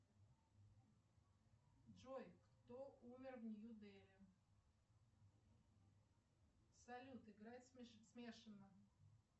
джой кто умер в нью дели салют играть смешано